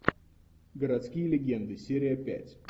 городские легенды серия пять